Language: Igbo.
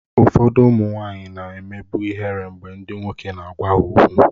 Ụfọdụ ụmụ nwanyị na-emebu ihere mgbe ndị nwoke na-agwa ha okwu